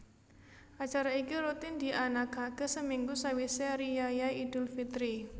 Acara iki rutin dianakake seminggu sawise riyaya idul fitri